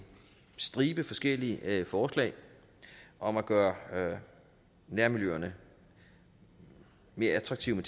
stribe forskellige forslag om at gøre nærmiljøerne mere attraktive